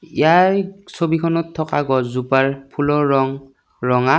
ইয়াৰ ছবিখনত থকা গছজোপাৰ ফুলৰ ৰং ৰঙা।